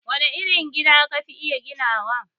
Wane irin gida ka fi iya ginawa?